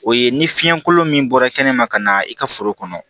O ye ni fiɲɛ kolon min bɔra kɛnɛma ka na i ka foro kɔnɔ